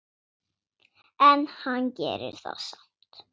En hann gerir það samt.